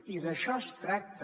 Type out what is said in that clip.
i d’això es tracta